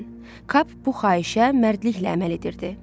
Cap bu xahişə mərdliklə əməl edirdi.